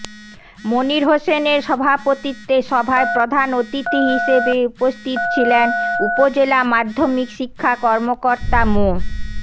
মনির হোসেনের সভাপতিত্বে সভায় প্রধান অতিথি হিসেবে উপস্থিত ছিলেন উপজেলা মাধ্যমিক শিক্ষা কর্মকর্তা মো